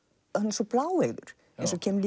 svo bláeygur eins og kemur